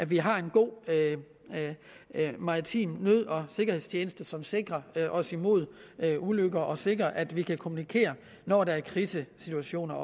vi har en god maritim nød og sikkerhedstjeneste som sikrer os imod ulykker og sikrer at vi kan kommunikere når der er krisesituationer